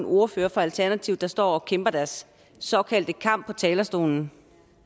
ordførere fra alternativet der står og kæmper deres såkaldte kamp på talerstolen